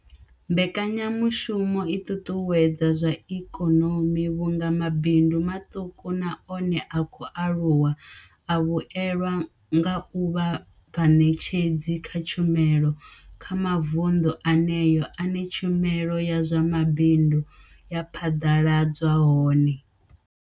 Mbekanyamushumo i ṱuṱuwedza zwa ikonomi vhunga mabindu maṱuku na one a khou aluwa a vhuelwa nga u vha vhaṋetshedzi kha tshumelo kha mavundu eneyo ane tshumelo ya zwa mabindu ya phaḓaladzwa hone.